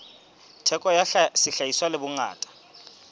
theko ya sehlahiswa le bongata